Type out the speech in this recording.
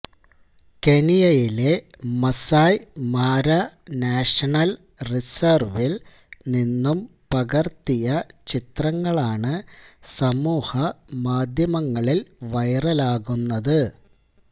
കെനിയയിലെ Masai Mara national റിസര്വില് നിന്നും പകര്ത്തിയ ചിത്രങ്ങളാണ് സമൂഹ മാധ്യമങ്ങളില് വൈറലാകുന്നത്